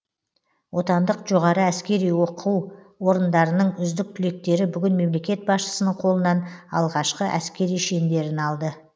отандық жоғары әскери оқу орындарының үздік түлектері бүгін мемлекет басшысының қолынан алғашқы әскери шендерін алды